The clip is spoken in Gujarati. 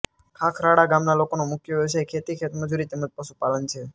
ખાખરાળા ગામના લોકોનો મુખ્ય વ્યવસાય ખેતી ખેતમજૂરી તેમ જ પશુપાલન છે